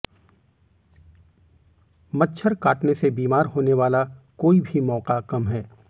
मच्छर काटने से बीमार होने वाला कोई भी मौका कम है